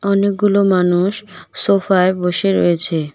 অনেকগুলো মানুষ সোফা -য় বসে রয়েছে।